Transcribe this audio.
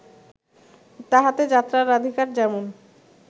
তাহাতে যাত্রার রাধিকার যেমন